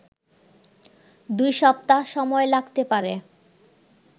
২ সপ্তাহ সময় লাগতে পারে